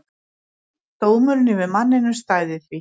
Dómurinn yfir manninum stæði því.